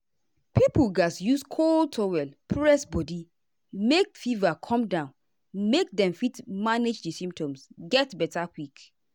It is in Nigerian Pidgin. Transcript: pipo gatz use cold towel press body make fever come down make dem fit manage di symptoms get beta quick.